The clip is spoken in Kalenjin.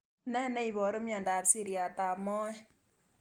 Ne niaparu miandop siriat ab moet